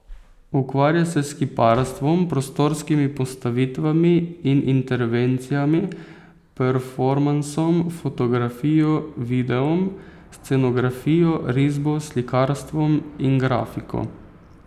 Ukvarja se s kiparstvom, prostorskimi postavitvami in intervencijami, performansom, fotografijo, videom, scenografijo, risbo, slikarstvom in grafiko.